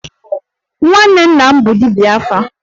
Nwanne nna m bụ dibia 'afa'